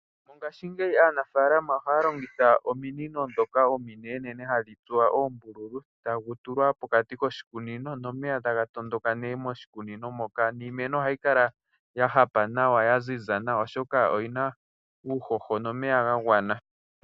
Olundji aanafaalama ohaya longitha ominino ndhoka ominenenene hadhi tsuwa oombululu, tagu tulwa pokati koshikunino nomeya taga tondoka nee noshikunino niimeno ohayi kala ya hapa nawa ya ziza nawa, oshoka oyina uuhoho nomeya ga gwana.